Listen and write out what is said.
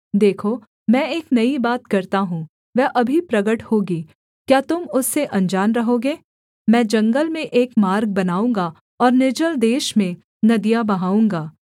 देखो मैं एक नई बात करता हूँ वह अभी प्रगट होगी क्या तुम उससे अनजान रहोगे मैं जंगल में एक मार्ग बनाऊँगा और निर्जल देश में नदियाँ बहाऊँगा